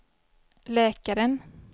läkaren